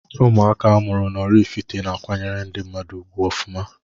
Ụmụaka amụrụ n'Ọraifite na akwanyere ndi mmadu ugwu ọfụma.